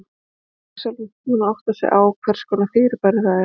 Lesandinn er sjálfsagt búinn að átta sig á hvers konar fyrirbæri það er.